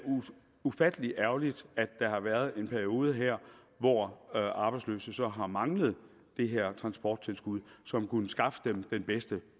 ufattelig ærgerligt at der har været en periode hvor arbejdsløse så har manglet det her transporttilskud som kunne skaffe dem den bedste